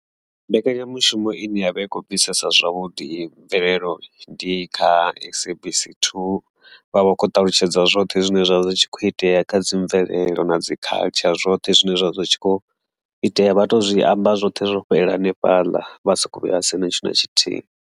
Mbekanyamushumo ine yavha i kho bvisa zwavhuḓi i mvelelo ndi kha SABC 2 vha vha khou ṱalutshedza zwoṱhe zwine zwavha zwakho itea kha dzi mvelelo na dzi culture zwoṱhe zwine zwavha zwi tshi kho itea, vha to zwi amba zwothe zwo fhelela hanefhaḽa vha soko vhuya sia na tshithu na tshithihi.